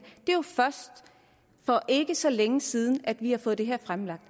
er jo først for ikke så længe siden at vi har fået det her fremlagt